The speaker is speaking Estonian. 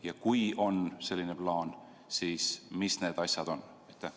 Ja kui on selline plaan, siis mis need asjad on?